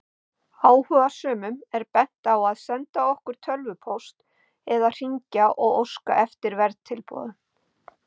Áhugasömum er bent á að senda okkur tölvupóst eða hringja og óska eftir verðtilboðum.